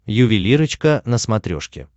ювелирочка на смотрешке